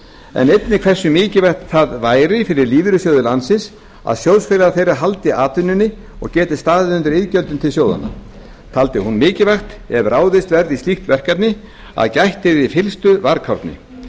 en einnig hversu mikilvægt það væri fyrir lífeyrissjóði landsins að sjóðfélagar þeirra haldi atvinnunni og geti staðið undir iðgjöldum til sjóðanna taldi hún mikilvægt ef ráðist verði í slíkt verkefni að gætt yrði fyllstu varkárni